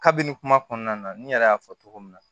Kabini kuma kɔnɔna na n yɛrɛ y'a fɔ cogo min na